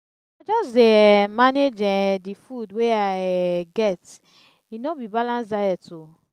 i just dey um manage um di food wey i um get e no be balanced diet o.